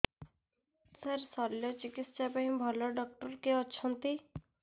ସାର ଶଲ୍ୟଚିକିତ୍ସା ପାଇଁ ଭଲ ଡକ୍ଟର କିଏ ଅଛନ୍ତି